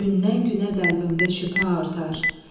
Gündən-günə qəlbimdə şübhə artar.